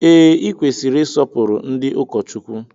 Ee, I kwesịrị isọpuru ndị ụkọchukwu.